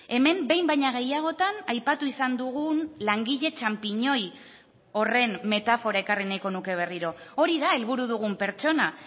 hemen behin baino gehiagotan aipatu izan dugun langile txanpiñoi horren metafora ekarri nahiko nuke berriro hori da helburu dugun pertsona